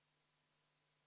V a h e a e g